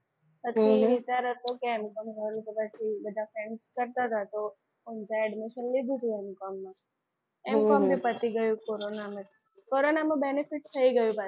વિચાર હતો કે M com કરૂ બધા friend કરતા હતા તો admission લીધું તું M com માં M com બી પતી ગયું કોરોનામાં. કોરોનામાં benefit થઈ ગયું પાછું.